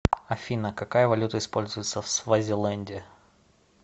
афина какая валюта используется в свазиленде